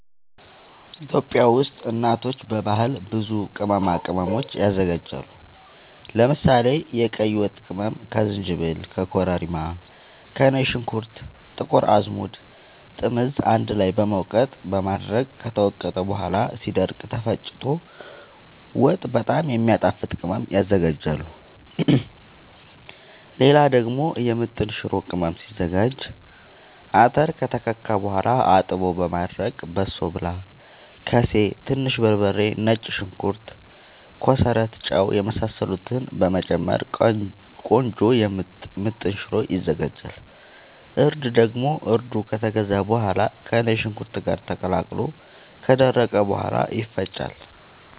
ኢትዮጵያ ውስጥ እናቶች በባህል ብዙ ቅመማ ቅመም ያዘጋጃሉ። ለምሳሌ፦ የቀይ ወጥ ቅመም ከዝንጅብል፣ ከኮረሪማ፣ ከነጭ ሽንኩርት፣ ጥቁር አዝሙድ፣ ጥምዝ አንድ ላይ በመውቀጥ በማድረቅ ከተወቀጠ በኋላ ሲደርቅ ተፈጭቶ ወጥ በጣም የሚያጣፋጥ ቅመም ያዝጋጃሉ። ሌላ ደግሞ የምጥን ሽሮ ቅመም ሲዘጋጅ :- አተር ከተከካ በኋላ አጥቦ በማድረቅ በሶብላ፣ ከሴ፣ ትንሽ በርበሬ፣ ነጭ ሽንኩርት፣ ኮሰረት፣ ጫው የመሳሰሉትን በመጨመር ቆንጆ ምጥን ሽሮ ይዘጋጃል። እርድ ደግሞ እርዱ ከተገዛ በኋላ ከነጭ ሽንኩርት ጋር ተቀላቅሎ ከደረቀ በኋላ ይፈጫል።